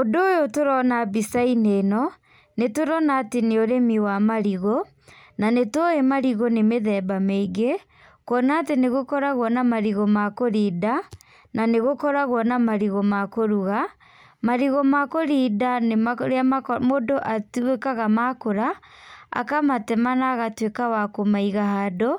Ũndũ ũyũ tũrona mbicainĩ ĩno, nĩturona atĩ nĩ ũrĩmi wa marigũ, na nĩtuĩ marigũ nĩ mĩthemba mĩingĩ, kuona atĩ nĩgũkoragwo na marigũ ma kũrinda, na nĩgũkoragwo na marigũ ma kũruga, marigũ ma kũrinda nĩmarĩa mũndũ atuĩkaga makũra, akamatema na agatuĩka wa kũmaiga handũ,